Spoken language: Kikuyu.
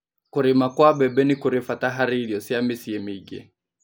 Kũrĩma kwa mbembe nĩkũri bata harĩirio cia mĩcĩĩmingĩ